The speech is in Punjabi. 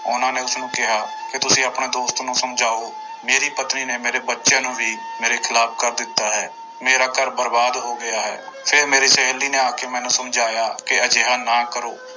ਉਹਨਾਂ ਨੇ ਉਸਨੂੰ ਕਿਹਾ ਕਿ ਤੁਸੀਂ ਆਪਣੇ ਦੋਸਤ ਨੂੰ ਸਮਝਾਓ, ਮੇਰੀ ਪਤਨੀ ਨੇ ਮੇਰੇ ਬੱਚਿਆਂ ਨੂੰ ਵੀ ਮੇਰੇ ਖਿਲਾਫ਼ ਕਰ ਦਿੱਤਾ ਹੈ, ਮੇਰਾ ਘਰ ਬਰਬਾਦ ਹੋ ਗਿਆ ਹੈ, ਫਿਰ ਮੇਰੀ ਸਹੇਲੀ ਨੇ ਆ ਕੇ ਮੈਨੂੰ ਸਮਝਾਇਆ ਕਿ ਅਜਿਹਾ ਨਾ ਕਰੋ।